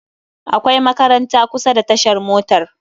Akwai makaranta kusa da tashar motar